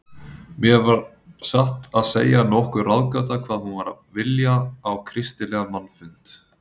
Mér var satt að segja nokkur ráðgáta hvað hún var að vilja á kristilegan mannfund.